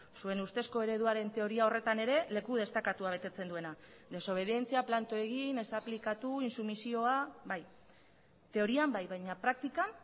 suen ustezko ereduaren teoria horretan ere leku destakatua betetzen duena desobedientzia planto egin ez aplikatu intsumisioa bai teorian bai baina praktikan